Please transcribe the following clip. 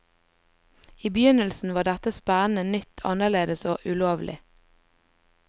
I begynnelsen var dette spennende, nytt, annerledes og ulovlig.